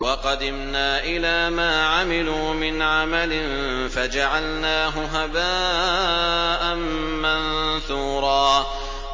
وَقَدِمْنَا إِلَىٰ مَا عَمِلُوا مِنْ عَمَلٍ فَجَعَلْنَاهُ هَبَاءً مَّنثُورًا